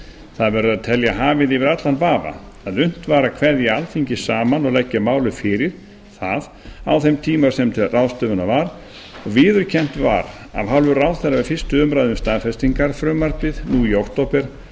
verður að telja hafið yfir allan vafa að unnt var að kveðja alþingi saman og leggja málið fyrir það á þeim tíma sem til ráðstöfunar var og viðurkennt var af hálfu ráðherra við fyrstu umræðu um staðfestingarfrumvarpið nú í október að